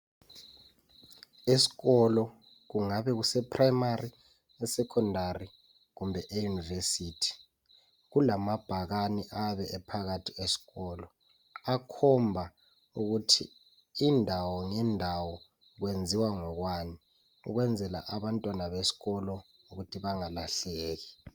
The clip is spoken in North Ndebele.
Es'kolo kungabe kuse primary, eSecondary kumbe e University kulamabhakane abe ephakathi es'kolo akhomba ukuthi indawo ngendawo kwenziwa ngokwani ukwenzela abantwana beskolo ukuthi bengalahleki